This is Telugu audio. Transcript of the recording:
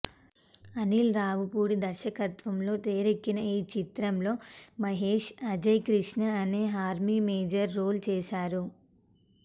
అనిల్ రావిపూడి దర్శకత్వంలో తెరకెక్కిన ఈ చిత్రంలో మహేష్ అజయ్ కృష్ణ అనే ఆర్మీ మేజర్ రోల్ చేశారు